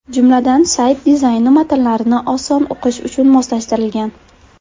Jumladan, sayt dizayni matnlarni oson o‘qish uchun moslashtirilgan.